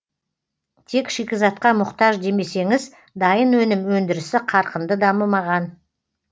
тек шикізатқа мұқтаж демесеңіз дайын өнім өндірісі қарқынды дамымаған